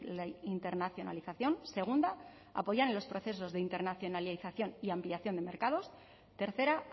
la internacionalización segunda apoyar en los procesos de internacionalización y ampliación de mercados tercera